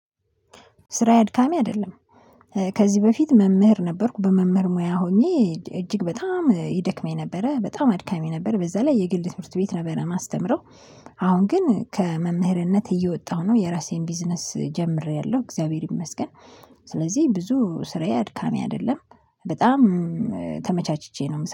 ስራየ አድካሚ አይደለም። ከዚህ በፊት መምህር ነበርኩ በመምህር ሙያ ሆኜ እጅግ በጣም ይደክመኝ ነበረ በጣም አድካሚ ነበረ በዛ ላይ የግል ትምህርት ቤት ነበረ ማስተምረው። አሁን ግን ከመምህርነት እየወጣሁ ነው የራሴን ቢዝነስ ጀምሬያለሁ እግዚአብሔር ይመስገን። ስለዚህ ብዙ ስራዬ አድካሚ አይደለም በጣም ተመቻችቼ ነው